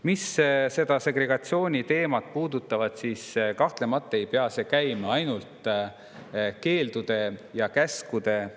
Mis puudutab segregatsiooni, siis kahtlemata ei pea seda ainult keeldude ja käskudega.